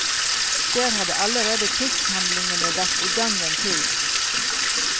Der hadde allerede krigshandlingene vært i gang en tid.